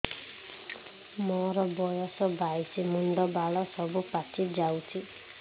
ମୋର ବୟସ ବାଇଶି ମୁଣ୍ଡ ବାଳ ସବୁ ପାଛି ଯାଉଛି